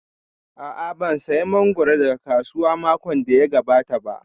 A'a, ban saya mangoro daga kasuwa makon da ya gabata ba